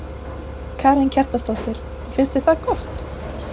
Karen Kjartansdóttir: Og finnst þér það gott?